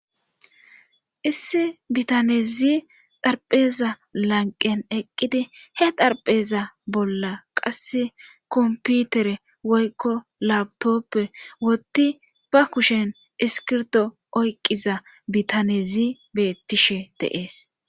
issi bitanezi dharpheza lanqen eqqidi he darpheza bolla qasse komputere woykko labtoppe wotti ba kushen iskirdo oyqiza bitanezi bettishe deees